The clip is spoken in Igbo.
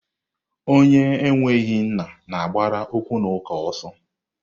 Onye enweghị nna na-agbara okwunaka ọsọ.